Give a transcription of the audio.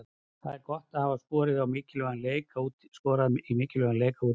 Það er gott að hafa skorað í mikilvægum leik, á útivelli.